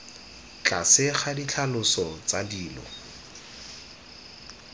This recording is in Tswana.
tlase ga ditlhaloso tsa dilo